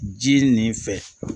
Ji nin fɛ